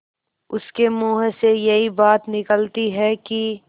उसके मुँह से यही बात निकलती है कि